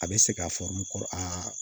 A bɛ se k'a fɔ n kɔrɔ